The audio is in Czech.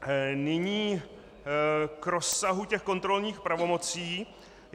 Nyní k rozsahu těch kontrolních pravomocí.